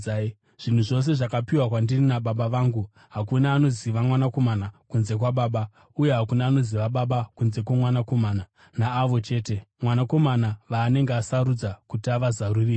“Zvinhu zvose zvakapiwa kwandiri naBaba vangu. Hakuna anoziva Mwanakomana kunze kwaBaba, uye hakuna anoziva Baba kunze kwoMwanakomana naavo chete Mwanakomana vaanenge asarudza kuti avazarurire.